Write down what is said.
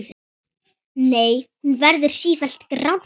Nei, hún verður sífellt grárri.